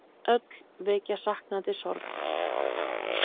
Öll vekja saknandi sorg.